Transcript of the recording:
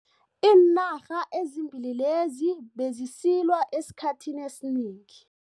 Iinarha ezimbili lezi bezisilwa esikhathini esinengi.